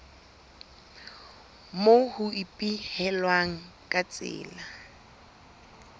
moo ho ipehilweng ka tsela